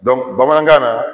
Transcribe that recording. bamanankan na